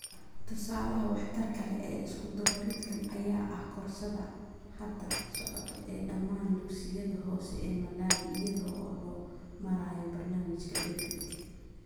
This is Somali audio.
Tusaalaha waxtarka leh ee isku-dubaridkan ayaa ah koorsada hadda socota ee dhammaan dugsiyada hoose ee Malawi iyada oo loo marayo barnaamijka BEFIT.